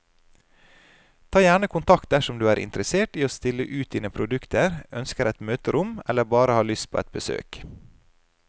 Ta gjerne kontakt dersom du er interessert i å stille ut dine produkter, ønsker et møterom eller bare har lyst på et besøk.